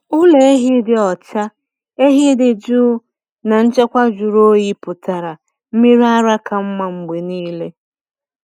Ụlọ ehi dị ọcha, ehi dị jụụ, na nchekwa jụrụ oyi pụtara mmiri ara ka mma mgbe niile.